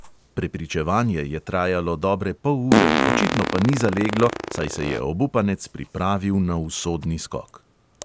Prepričevanje je trajalo dobre pol ure, očitno pa ni zaleglo, saj se je obupanec pripravil na usodni skok.